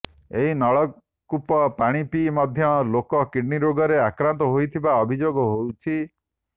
ଏହି ନଳକୂପ ପାଣି ପିଇ ମଧ୍ୟ ଲୋକେ କିଡନୀ ରୋଗରେ ଆକ୍ରାନ୍ତ ହେଉଥିବା ଅଭିଯୋଗ ହେଉଛି